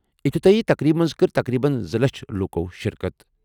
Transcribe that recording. افتِتٲحی تقریٖبہِ منٛز کٔر تقریٖباً زٕ لچھَ لوٗکو شرکت۔